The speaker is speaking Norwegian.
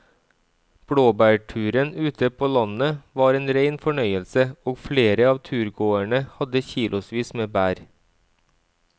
Blåbærturen ute på landet var en rein fornøyelse og flere av turgåerene hadde kilosvis med bær.